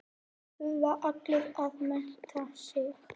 Þurfa allir að mennta sig?